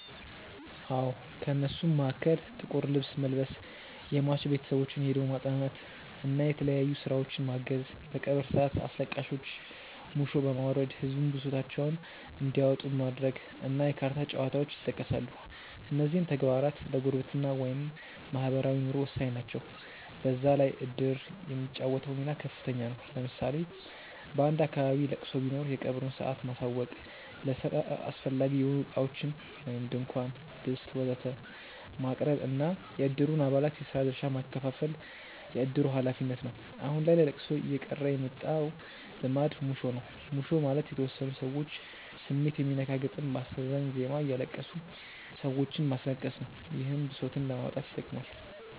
አዎ። ከእነሱም መሀከል ጥቁር ልብስ መልበስ፣ የሟች ቤተሰቦችን ሄዶ ማፅናናት እና የተለያዩ ስራዎችን ማገዝ፣ በቀብር ሰአት አስለቃሾች ሙሾ በማውረድ ህዝቡን ብሶታቸውን እንዲያወጡ ማድረግ እና የካርታ ጨዋታዎች ይጠቀሳሉ። እነዚህም ተግባራት ለጉርብትና (ማህበራዊ ኑሮ) ወሳኝ ናቸው። በዛ ላይ እድር የሚጫወተው ሚና ከፍተኛ ነው። ለምሳሌ በአንድ አካባቢ ለቅሶ ቢኖር የቀብሩን ሰአት ማሳወቅ፣ ለስራ አስፈላጊ የሆኑ እቃዎችን (ድንኳን፣ ድስት ወዘተ...) ማቅረብ እና የእድሩን አባላት የስራ ድርሻ ማከፋፈል የእድሩ ሀላፊነት ነው። አሁን ላይ ለለቅሶ እየቀረ የመጣው ልማድ ሙሾ ነው። ሙሾ ማለት የተወሰኑ ሰዎች ስሜት የሚነካ ግጥም በአሳዛኝ ዜማ እያለቀሱ ሰዎችንም ማስለቀስ ነው። ይህም ብሶትን ለማውጣት ይጠቅማል።